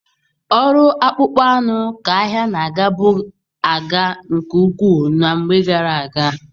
Ọrụ akpụkpọ anụ ka ahịa na-agabu aga nke ukwuu na mgbe gara aga.